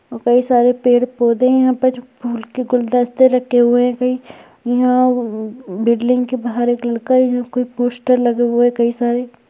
और कई सारे पेड़-पोधे है। यहाँ पर कुछ फूल के गुलदस्ते रखे हुए है। कई यहाँ बिल्डिंग के बाहर एक कुछ पोस्टर लगे है कई सारे |